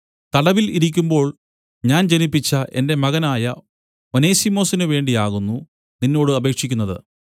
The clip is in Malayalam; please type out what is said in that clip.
തടവിൽ ഇരിക്കുമ്പോൾ ഞാൻ ജനിപ്പിച്ച എന്റെ മകനായ ഒനേസിമൊസിനു വേണ്ടി ആകുന്നു നിന്നോട് അപേക്ഷിക്കുന്നത്